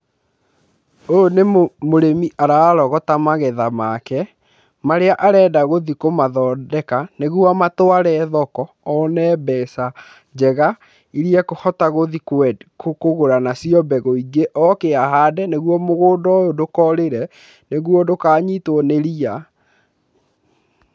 Ũyũ nĩ mũrĩmi ararogota magetha make marĩa arenda gũthiĩ kũmathondeka, nĩguo amatware thoko, one mbeca njega irĩa ekũhota gũthiĩ kũgũra nacio mbegũ ingĩ oke ahande, nĩguo mũgũnda ũyũ ndũkorĩre, nĩguo ndũkanyitwo nĩ ria.